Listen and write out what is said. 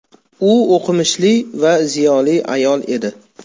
U o‘qimishli va ziyoli ayol edi.